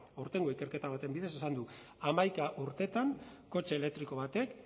aurtengo ikerketa baten bidez esan du hamaika urtetan kotxe elektriko batek